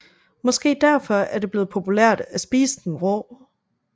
Måske derfor er det blevet populært at spise den rå